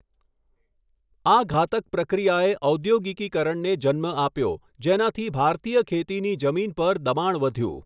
આ ઘાતક પ્રક્રિયાએ ઔદ્યોગિકીકરણને જન્મ આપ્યો જેનાથી ભારતીય ખેતીની જમીન પર દબાણ વધ્યું.